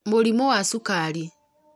mũrimũ wa cukari